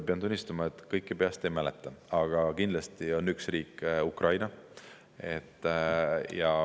Pean tunnistama, et kõiki peast ei mäleta, aga kindlasti on üks riik Ukraina.